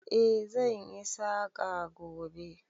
Eh, zan yi saƙa gobe.